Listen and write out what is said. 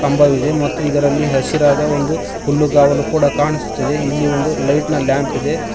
ಕಂಬವಿದೆ ಮತ್ತು ಇದರಲ್ಲಿ ಹಸಿರಾದ ಒಂದು ಹುಲ್ಲುಗಾವಲು ಕೂಡ ಕಾಣಿಸುತ್ತಿದೆ ಇಲ್ಲಿ ಒಂದು ಲೈಟ್ನ ಲ್ಯಾಂಪ್ ಇದೆ.